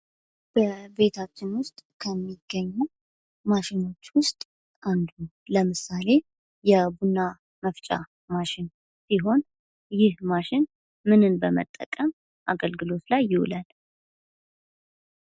በቤታችን ዉስጥ ከሚገኙ ማሽኖች ዉስጥ አንዱ ለምሳሌ የቡና መፍጫ ማሽን ሲሆን ይህ ማሽን ምንን በመጠቀም አገልግሎት ላይ ይውላል?